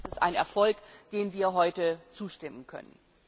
Deswegen ist es ein Erfolg, dem wir heute zustimmen können.